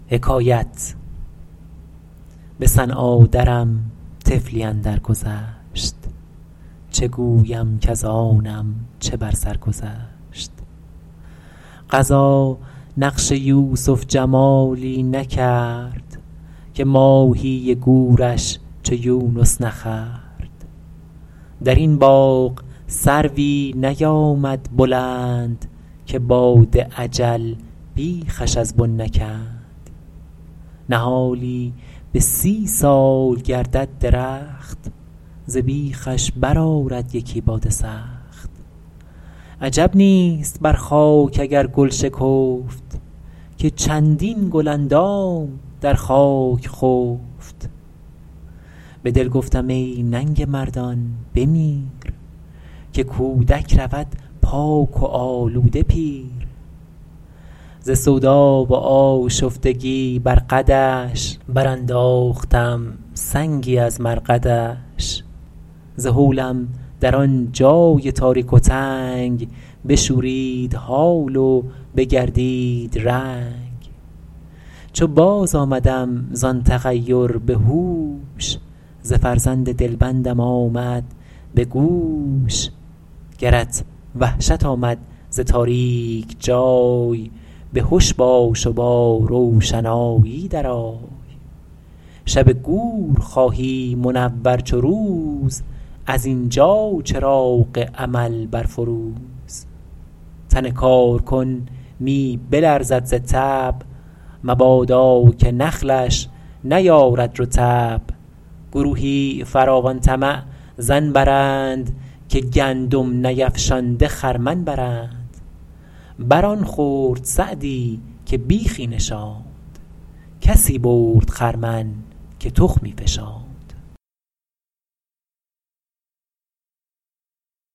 به صنعا درم طفلی اندر گذشت چه گویم کز آنم چه بر سر گذشت قضا نقش یوسف جمالی نکرد که ماهی گورش چو یونس نخورد در این باغ سروی نیامد بلند که باد اجل بیخش از بن نکند نهالی به سی سال گردد درخت ز بیخش بر آرد یکی باد سخت عجب نیست بر خاک اگر گل شکفت که چندین گل اندام در خاک خفت به دل گفتم ای ننگ مردان بمیر که کودک رود پاک و آلوده پیر ز سودا و آشفتگی بر قدش برانداختم سنگی از مرقدش ز هولم در آن جای تاریک و تنگ بشورید حال و بگردید رنگ چو باز آمدم زآن تغیر به هوش ز فرزند دلبندم آمد به گوش گرت وحشت آمد ز تاریک جای به هش باش و با روشنایی در آی شب گور خواهی منور چو روز از اینجا چراغ عمل برفروز تن کارکن می بلرزد ز تب مبادا که نخلش نیارد رطب گروهی فراوان طمع ظن برند که گندم نیفشانده خرمن برند بر آن خورد سعدی که بیخی نشاند کسی برد خرمن که تخمی فشاند